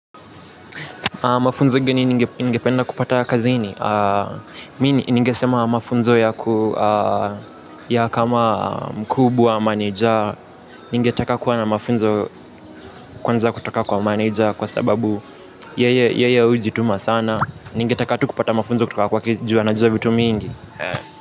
Mafunzo gani ningependa kupata kazini. Mimi ningeesema mafunzo ya kama mkubwa manager. Ningetaka kuwa na mafunzo kwanza kutoka kwa manager kwa sababu yeye hujituma sana. Ningetaka tu kupata mafunzo kutoka kwake juu anajua vitu mingi.